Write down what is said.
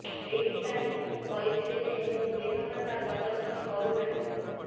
ସେଇଥିପାଇଁ ମୁଁ କହୁଥିଲି ଯେ ମୁଁ ବିନମ୍ରତା ପ୍ରଦର୍ଶନ କରୁ ନାହିଁ